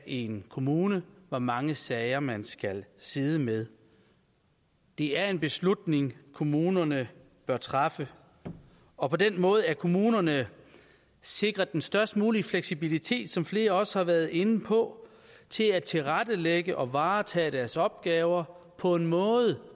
en kommune skal hvor mange sager man skal sidde med det er en beslutning kommunerne bør træffe og på den måde er kommunerne sikret den størst mulige fleksibilitet som flere også har været inde på til at tilrettelægge og varetage deres opgaver på en måde